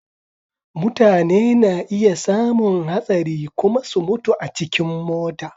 Mutane na iya samun hastari kuma su mutu a cikin mota.